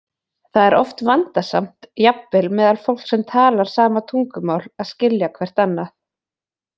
Það er oft vandasamt, jafnvel meðal fólks sem talar sama tungumál, að skilja hvert annað.